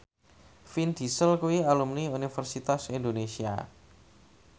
Vin Diesel kuwi alumni Universitas Indonesia